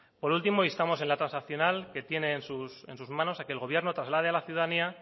por último instamos en la transaccional que tiene en sus manos a que el gobierno traslade a la ciudadanía